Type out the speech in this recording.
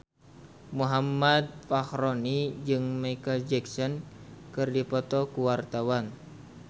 Muhammad Fachroni jeung Micheal Jackson keur dipoto ku wartawan